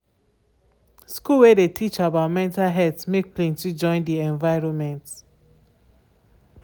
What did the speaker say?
school wey de teach about mental health make plenty join de enviroment.